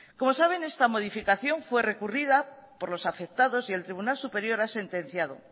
como saben esta modificación fue recurrida por los afectados y el tribunal superior ha sentenciado